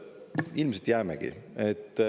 Ilmselt jäämegi.